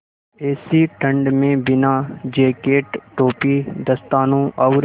ऐसी ठण्ड में बिना जेकेट टोपी दस्तानों और